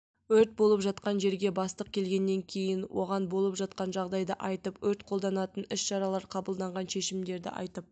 өрт болып жатқан жерге бастық келгеннен кейін оған болып жатқан жағдайды айтып өрт қолданатын іс-шаралар қабылданған шешімдерді айтып